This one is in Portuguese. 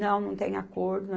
Não, não tem acordo.